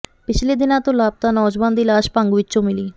ਪਿਛਲੇ ਦਿਨਾਂ ਤੋਂ ਲਾਪਤਾ ਨੌਜਵਾਨ ਦੀ ਲਾਸ਼ ਭੰਗ ਵਿਚੋਂ ਮਿਲੀ